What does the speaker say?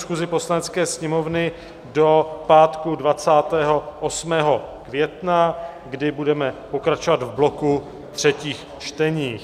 schůzi Poslanecké sněmovny do pátku 28. května, kdy budeme pokračovat v bloku třetích čtení.